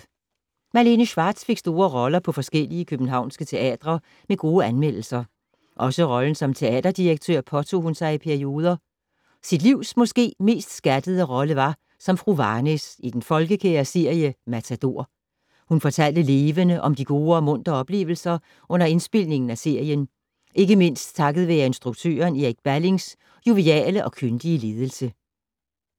Malene Schwartz fik store roller på forskellige københavnske teatre med gode anmeldelser. Også rollen som teaterdirektør påtog hun sig i perioder. Sit livs måske mest skattede rolle var som fru Varnæs i den folkekære serie Matador. Hun fortalte levende om de gode og muntre oplevelser under indspilningen af serien, ikke mindst takket være instruktøren Erik Ballings joviale og kyndige ledelse.